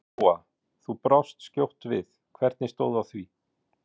Lóa: Þú brást skjótt við, hvernig stóð á því?